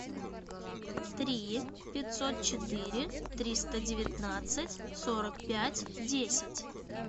три пятьсот четыре триста девятнадцать сорок пять десять